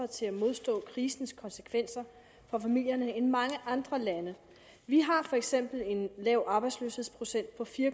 til at modstå krisens konsekvenser for familierne end mange andre lande vi har for eksempel en lav arbejdsløshedsprocent på fire